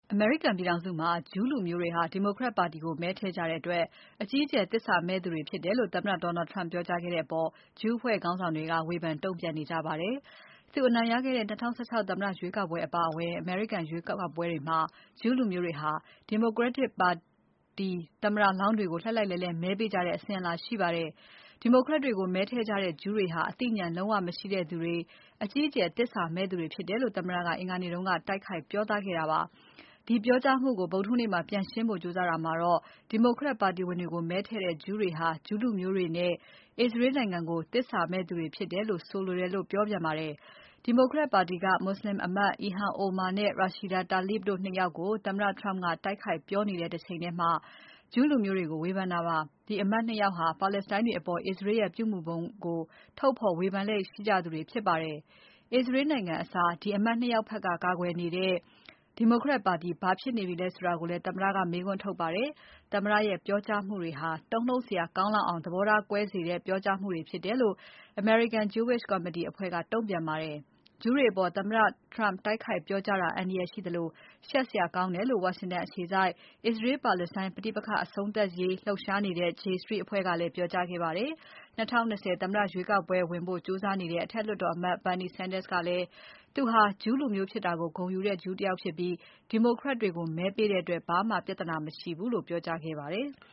အမေရိကန်ပြည်ထောင်စုမှာ ဂျူးလူမျိုးတွေဟာ Democrat တွေကို မဲထည့်ကြတဲ့အတွက် အကြီးအကျယ်သစ္စာမဲ့ကြသူတွေဖြစ်တယ်လို့ သမ္မတ Donald Trump ကပြောကြားခဲ့တဲ့အပေါ် ဂျူးအဖွဲ့ခေါင်းဆောင်တွေက ဝေဖန်တုံ့ပြန်ခဲ့ကြပါတယ်။ သူအနိုင်ရခဲ့တဲ့ ၂၀၁၆ သမ္မတ ရွေးကောက်ပွဲအပါအဝင် အမေရိကန်ရွေးကောက်ပွဲတွေမှာ ဂျူးလူမျိုးတွေဟာ Democrat ပါတီသမ္မတလောင်းတွေကို လှိုက်လှိုက်လှဲလှဲ မဲပေးကြတဲ့ အစဉ်အလာရှိပါတယ်။ Democrat တွေကို မဲထည့်ကြတဲ့ ဂျူးတွေဟာ အသိဉာဏ်လုံးဝ မရှိသူတွေ၊ အကြီးအကျယ်သစ္စာမဲ့သူတွေဖြစ်တယ်လို့ သမ္မတက အင်္ဂါနေ့က တိုက်ခိုက်ပြောသားခဲ့တာပါ။ အဲဒီပြောကြားမှုကို ဗုဒ္ဓဟူးနေ့မှာ ပြန်ရှင်းဖို့ကြိုးစားတာမှာတော့ Democrat ပါတီဝင်တွေကို မဲထည့်တဲ့ ဂျူးတွေဟာ ဂျူးလူမျိုးတွေနဲ့ အစ္စရေးနိုင်ငံကို သစ္စာမဲ့သူတွေဖြစ်တယ်လို့ ဆိုလိုတာလို့ ပြောပါတယ်။ Democrat ပါတီက မွတ်ဆလင် အမတ် Ilhan Omar နဲ့ Rashida Tlaib တို့ ၂ ယောက်ကို သမ္မတ Trump က တိုက်ခိုက်ပြောနေတဲ့ တချိန်ထဲမှာ ဂျူးလူမျိုးတွေကို ဝေဖန်တာပါ။ ဒီအမတ် ၂ ယောက်ဟာ ပါလက်စတိုင်းတွေအပေါ် အစ္စရေးရဲ့ ပြုမူပုံကို ထုတ်ဖော်ဝေဖန်လေ့ရှိသူတွေဖြစ်ပါတယ်။ အစ္စရေးနိုင်ငံအစား ဒီအမတ် ၂ ယောက်ဖက်က ကာကွယ်နေတဲ့ Democrat ပါတီဘာဖြစ်နေပြီလဲလို့လည်း သမ္မတက မေးခွန်းထုတ်ပါတယ်။ သမ္မတရဲ့ ပြောကြားမှုတွေဟာ တုန်လှုပ်စရာကောင်းလောက်အောင် သဘောထားကွဲစေတဲ့ပြောကြားမှုဖြစ်တယ်လို့ American Jewish Committee ကတုံ့ပြန်ပါတယ်။ ဂျူးတွေအပေါ် သမ္မတ Trump တိုက်ခိုက်ပြောကြားတာ အန္တရာယ်ရှိသလို ရှက်စရာကောင်းတယ်လို့ ဝါရှင်တန်အခြေစိုက် အစ္စရေး-ပါလက်စတိုင်းပဋိပက္ခအဆုံးသတ်ရေး လှုပ်ရှားနေတဲ့ J Street အဖွဲ့ကလည်း ပြောကြားခဲ့ပါတယ်။ ၂၀၂၀ သမ္မတရွေးကောက်ပွဲဝင်ဖို့ ကြိုးစားနေတဲ့ အထက်လွှတ်တော်အမတ် Bernie Sanders ကလည်း သူဟာ ဂျူးလူမျိုးဖြစ်တာ ဂုဏ်ယူတဲ့ဂျူးဖြစ်တယ်၊ Democrat တွေကို မဲပေးတဲ့အပေါ် ဘာမှပြဿနာမရှိဘူးလို့ ပြောကြားခဲ့ပါတယ်။